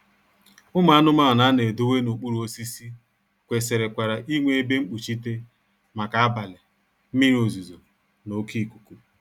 Ụmụ anụmanụ a na-edowe n'okpuru osisi kwesịrịkwara inwe ebe mkpuchite maka abalị, mmiri ozuzo na oké ikuku